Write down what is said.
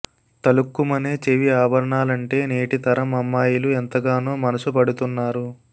తళుక్కుమనే చెవి ఆభరణాలంటే నేటి తరం అమ్మాయిలు ఎంతగానో మనసు పడుతున్నారు